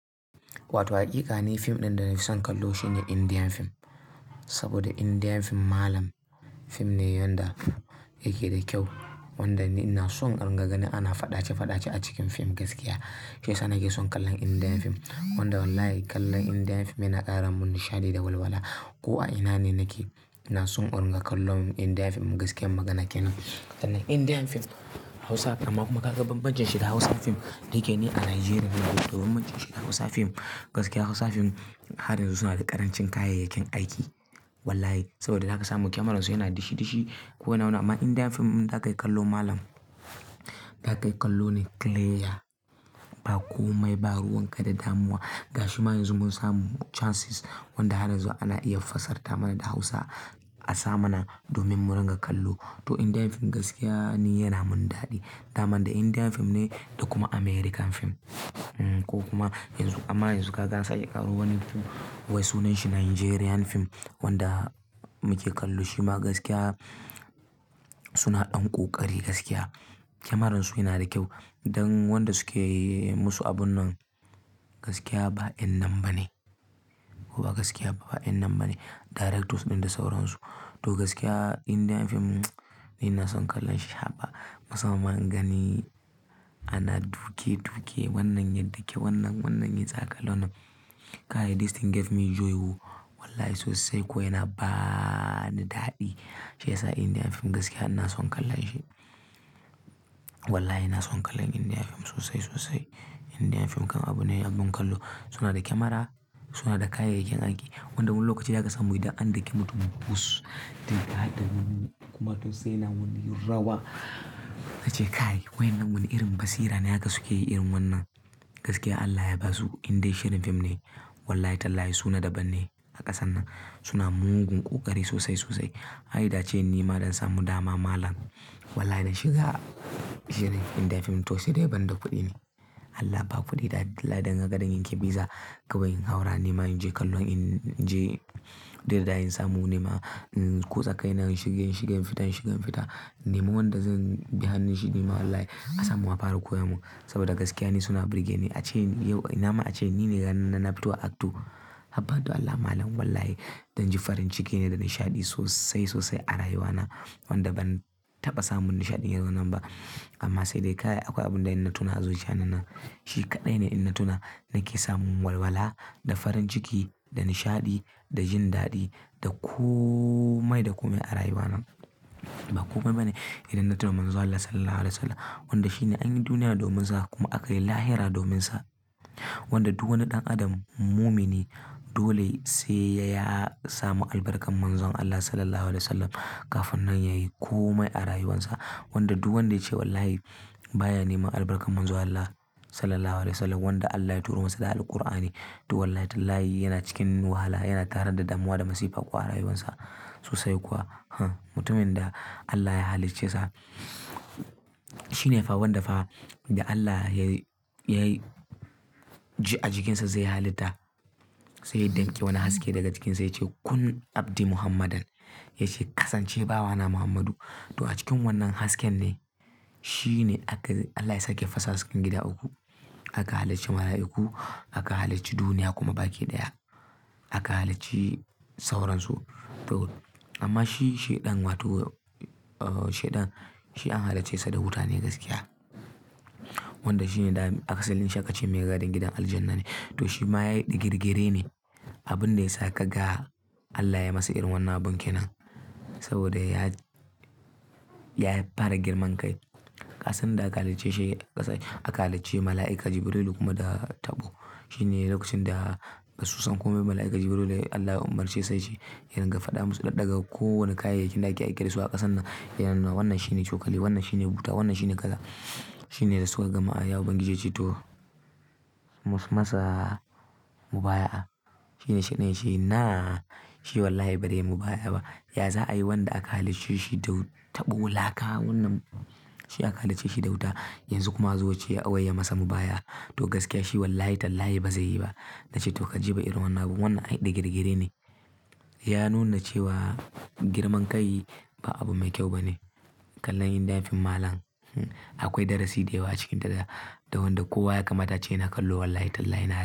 Wato haƙiƙa ne fim ɗin da na fi son kallo shine Indiyan fim. Saboda Indian fim malam fim ne wanda yake da kyau, wanda ina son inringa ganin ana faɗace-faɗace a cikin fim gaskiya. Shiyasa nake son kallon Indiyan fim. Wanda wallahi kallon Indiyan fim yana ƙara mun nishaɗi da walwala. Ko a ina ne nake ina son inringa kallon Indiyan fim gaskiyar magana kenan. Indiyan fim Hausa fim amma kuma ka ga bambancin shi da Hausa fim da yake ne a Najeriya. Domin bambancin shi da Hausa fim, gaskiya Hausa fim har yanzu suna da ƙarancin kayayyakin aiki. Wallahi saboda zaka samu kyamararsu yana dishi-dishi ko wane ma'ana. Amma Indiyan fim in za ka yi kallo malam, za ka yi kallo ne kileya ba komai ba ruwanka da damuwa. Ga shi ma yanzu mun samu cansis wanda har yanzu ana iya fassara mana da Hausa a sa mana domin mu ringa kallo. To Indiyan fim gaskiya ne yana mun daɗi. Daman da Indiyan fim ne da kuma Amerikan fim. Ko kuma yanzu amma yanzu kaga ansake ƙaro wani fim wai sunanshi Najeriyan fim wanda muke kallo. Shi ma gaskiya suna ɗan ƙoƙari gaskiya. Kyamararsu yana da kyau. Don wanda suke yi musu abun nan gaskiya ba yan' nan ba ne. Ko ba gaskiya ba yan' nan bane. Directors ɗin da sauransu. To gaskiya Indiyan fim ni ina son kallon shi har ba. A saman in gani ana duke-duke wannan ya dake wannan wannan ya tsakalo nan. Kai this thing gave me joy oh wallahi sosai ko yana ba ni daɗi. Shiyasa Indian fim gaskiya ina son kallon shi. Wallahi ina son kallon Indian fim sosai sosai. Indian fim kam abune abin kallo. Suna da kyamara, suna da kayayyakin aiki. Wanda wani lokaci zaka samu idan an dake mutum bus. Duk har da wani kuma to sai na wani yin rawa. Na ce kai wa'innan wani irin basira ne haka suke yi irin wannan. Gaskiya Allah ya ba su. Inda shirin fim ne. Wallahi tallahi suna daban ne a ƙasan nan. Suna mugun ƙoƙari sosai sosai. Ai da ce nima don samu dama malam. Wallahi dan shiga shirin Indian fim to sai dai banda kuɗi ne. Allah ba kuɗi da dilla dan gagara yankan biza. Kawai in haura nima in je kallon in je duk yadda za'ayi in samu nima. Ko zakai nan shigen shigen fita in shigen fita. In nemi wanda zan bi hannunshi nima wallahi a samu wa fara koya mun. Saboda gaskiya ni suna burge ni. A ce yau ina ma a ce ni ne ganin na fito a actor. Habba du Allah malam wallahi dan ji farin ciki ne da nishaɗi sosai sosai a rayuwa na. Wanda ban taɓa samun nishaɗin irin wannan ba. Amma sai dai kai akwai abun da in na tuna a zuciya na nan. Shi kaɗai ne in na tuna nake samun walwala da farin ciki da nishaɗi da jin daɗi da komai da komai a rayuwa nan. Ba komai ba ne idan na tuna Manzon Allah Sallallahu Alaihi Wasallam. Wanda shine an yi duniya domin sa kuma aka yi lahira domin sa. Wanda duk wani ɗan adam mumini dole sai ya samu albarkar Manzon Allah Sallallahu Alaihi Wasallam kafin nan ya yi komai a rayuwarsa. Wanda duk wanda ya ce wallahi baya neman albarkar Manzon Allah Sallallahu Alaihi Wasallam wanda Allah ya turo masa da Alqur'ani to wallahi tallahi yana cikin wahala yana tare da damuwa da masifa kuwa a rayuwarsa sosai kuwa. Mutumin da Allah ya halicce sa shine fa wanda fa da Allah ya ji a jikinsa zai halitta. Sai ya ɗanke wani haske daga jikinsa ya ce Kun Abdi Muhammadan. Ya ce kasance bawa na Muhammadu. To a cikin wannan hasken ne shi ne aka Allah ya saki fasa hasken gida uku. Aka halicci mala'iku, aka halicci duniya kuma baki ɗaya. Aka halicci sauransu to. Amma shi sheɗan wato sheɗan shi an halicce sa da wuta ne gaskiya. Wanda shi ne aka salli sa aƙa ce mai gadin gidan aljanna ne. To shi ma ya yi ɗa girgire ne. Abun da ya sa ka ga Allah ya yi masa irin wannan abun kenan. Saboda ya, ya fara girman kai. A ƙasan da aka halicce shi aka halicci mala'ika Jibrilu kuma da Tab'u. Shi ne lokacin da ba su san komai mala'ika Jibrilu ne Allah ya umarce sai shi. Yana riga fada musu ɗaɗagar kowane kayayyakin da ake aiki da su a ƙasan nan. Yana na wannan shi ne cokali, wannan shi ne wuta, wannan shi ne ƙaza. Shi ne da suka gama a yawo bangije ji to masa mubayi a. Shi ne sheɗan yace ina shi wallahi ba dai yi mubaya a ba. Ya za a yi wanda aka halicce shi da taɓo laka wannan shi aka halicce shi da wuta yanzu kuma a zo a ce wai ya masa mubaya. To gaskiya shi wallahi tallahi ba zai yi ba. Na ce to ka ji ba irin wannan ba wannan ai ɗi girgire ne. Ya nuna cewa girman kai ba abu mai kyau ba ne. Kallon Indian fim malam akwai darasi da yawa cikin ta da wanda kowa ya kamata a ce yana kallo wallahi tallahi na.